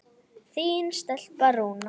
Þín stelpa, Rúna.